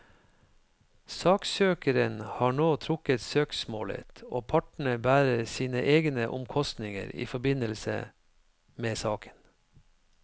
Saksøkeren har nå trukket søksmålet, og partene bærer sine egne omkostninger i forbindelse med saken.